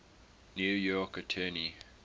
new york attorney